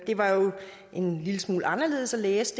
var jo en lille smule anderledes at læse